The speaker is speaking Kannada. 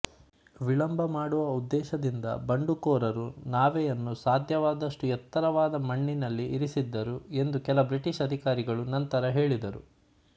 ವಿಳಂಬ ಮಾಡುವ ಉದ್ದೇಶದಿಂದ ಬಂಡುಕೋರರು ನಾವೆಯನ್ನು ಸಾಧ್ಯವಾದಷ್ಟು ಎತ್ತರವಾದ ಮಣ್ಣಿನಲ್ಲಿ ಇರಿಸಿದ್ದರು ಎಂದು ಕೆಲ ಬ್ರಿಟಿಷ್ ಅಧಿಕಾರಿಗಳು ನಂತರ ಹೇಳಿದರು